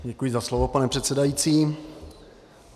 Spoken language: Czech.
Děkuji za slovo, pane předsedající.